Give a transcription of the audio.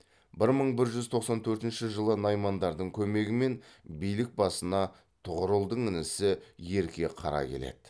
бір мың бір жүз тоқсан төртінші жылы наймандардың көмегімен билік басына тұғырылдың інісі ерке қара келеді